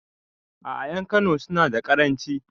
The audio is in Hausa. A'a ƴan kano suna da karanci